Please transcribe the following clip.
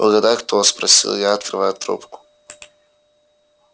угадайте кто спросил я открывая трубку